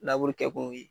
kɛ kun ye